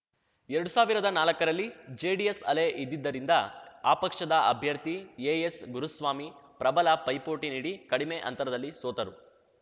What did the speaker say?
ಎರಡು ಸಾವಿರದ ನಾಲಕ್ಕರಲ್ಲಿ ಜೆಡಿಎಸ್‌ ಅಲೆ ಇದ್ದಿದ್ದರಿಂದ ಆ ಪಕ್ಷದ ಅಭ್ಯರ್ಥಿ ಎಎಸ್‌ಗುರುಸ್ವಾಮಿ ಪ್ರಬಲ ಪೈಪೋಟಿ ನೀಡಿ ಕಡಿಮೆ ಅಂತರದಲ್ಲಿ ಸೋತರು